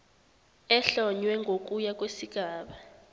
ehlonywe ngokuya kwesigaba